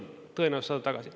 Tõenäoliselt sa saad tagasi.